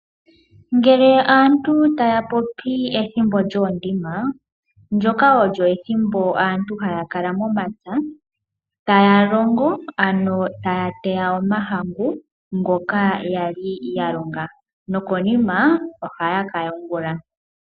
Ngele aantu taya popi ethimbo lyoondima, ndjoka olyo ethimbo aantu haya kala momapya taa longo ano taya teya omahangu. Ngoka yaali ya longa. Nokonima ohaa ka yungula.